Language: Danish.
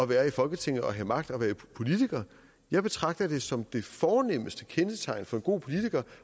være i folketinget og have magt og være politiker jeg betragter det som det fornemste kendetegn for en god politiker